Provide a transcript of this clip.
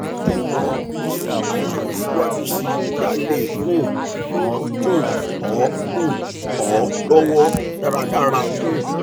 jọwọ pèsè àlàyé síwájú síi kí a le um ràn um ọ um ọ lọwọ dáradára um